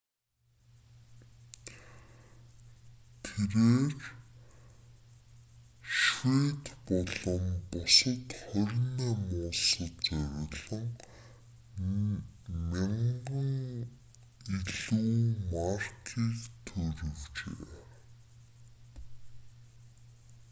тэрбээр швед болон бусад 28 улсад зориулан 1,000 илүү маркийг туурвижээ